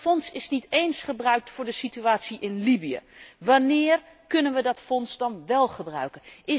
Maar dat fonds is niet eens gebruikt voor de situatie in Libië! Wanneer kunnen wij dat fonds dan wel gebruiken?